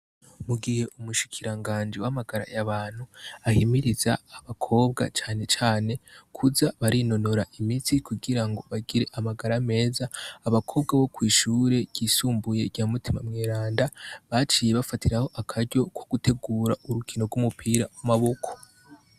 Mu gihe umushikiranganji w'amagara y'abantu ahimiriza abakobwa cane cane kuza barinonora imitsi kugira ngo bagire amagara meza, abakobwa bo kw'ishure ryisumbuye rya "mutima mweranda" baciye bafatiraho akaryo ko gutegura urukino rw'umupira w'amaboko.